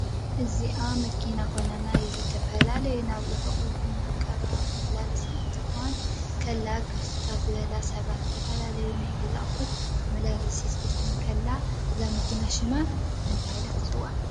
እዛ መኪና ኮይና ናይ ዝተፈላላዩ ናብ ርሑቅ ይኩን ናብ ቀረባ መመላለስቲ ክትኮን ተላ ከም ክፍትታት ዝበሉ ሰባት ዝተፈላለዩ ናይ ገዛውት ኣቁሑት መመላለስት ክትኮን ከላ እዛ መኪና ኮይና ሽማ መን እዳ? ተበሃለት ትፅዋዕ?